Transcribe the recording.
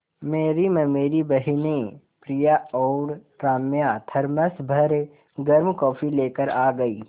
मेरी ममेरी बहिनें प्रिया और राम्या थरमस भर गर्म कॉफ़ी लेकर आ गईं